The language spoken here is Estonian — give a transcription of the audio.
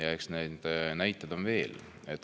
Ja eks neid näiteid on veel.